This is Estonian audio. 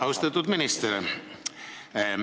Austatud minister!